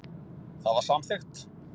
Það var samþykkt.